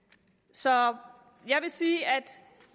så jeg vil sige at